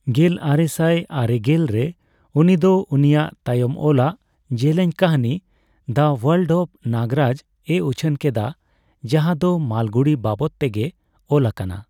ᱜᱮᱞ ᱟᱨᱮᱥᱟᱭ ᱟᱨᱮᱜᱮᱞ ᱼᱨᱮ ᱩᱱᱤ ᱫᱚ ᱩᱱᱤᱭᱟᱜ ᱛᱟᱭᱚᱢ ᱚᱞᱟᱜ ᱡᱮᱞᱮᱧ ᱠᱟᱹᱦᱟᱹᱱᱤ 'ᱫᱟ ᱳᱣᱟᱞᱰ ᱚᱯᱷ ᱱᱟᱜᱨᱟᱡᱽ'ᱼᱮ ᱩᱪᱷᱟᱹᱱ ᱠᱮᱫᱟ, ᱡᱟᱸᱦᱟ ᱫᱚ ᱢᱟᱞᱜᱩᱰᱤ ᱵᱟᱵᱚᱫ ᱛᱮ ᱜᱮ ᱚᱞᱟᱠᱟᱱᱟ ᱾